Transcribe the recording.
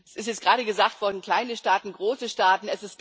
Es ist gerade gesagt worden kleine Staaten, große Staaten.